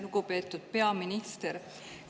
Lugupeetud peaminister!